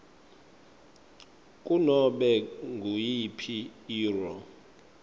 kunobe nguyiphi irro